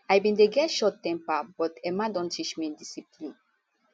i bin dey get short temper but mma don teach me discipline